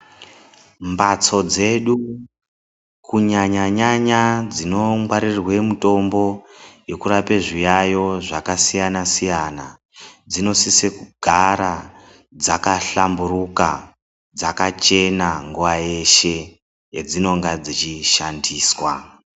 Mhatso dzedu, kunyanya-nyanya dzinongwarirwe mitombo yekurapa zviyayo zvakasiyana-siyana, dzinosise kugara dzakahlamburuka, dzakachena nguwa yeshe yedzinonga dzechishandiswa.